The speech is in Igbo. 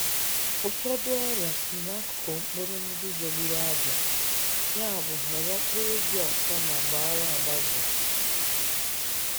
Ụfọdụ ọrịa si n’akụkụ mkpụrụ ndị jọgburu abịa, yabụ họrọ mkpụrụ dị ọcha ma gbaara agbaze tupu ịkụ.